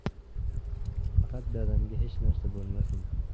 Faqat dadamga hech narsa bo‘lmasin.